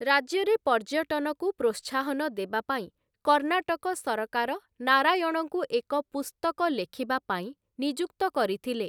ରାଜ୍ୟରେ ପର୍ଯ୍ୟଟନକୁ ପ୍ରୋତ୍ସାହନ ଦେବା ପାଇଁ କର୍ଣ୍ଣାଟକ ସରକାର ନାରାୟଣଙ୍କୁ ଏକ ପୁସ୍ତକ ଲେଖିବା ପାଇଁ ନିଯୁକ୍ତ କରିଥିଲେ ।